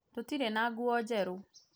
tũtirĩ na nguo njerũ